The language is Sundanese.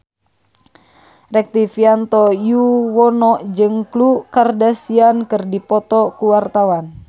Rektivianto Yoewono jeung Khloe Kardashian keur dipoto ku wartawan